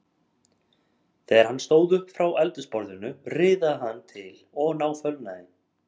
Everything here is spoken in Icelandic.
Þegar hann stóð upp frá eldhúsborðinu riðaði hann til og náfölnaði.